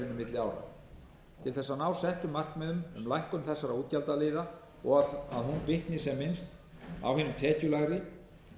ára til þess að ná settum markmiðum um lækkun þessara útgjaldagjalda og að hún bitni sem minnst á hinum tekjulægri